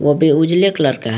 वो भी उजले कलर का है।